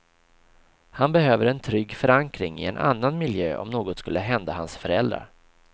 Han behöver en trygg förankring i en annan miljö om något skulle hända hans föräldrar.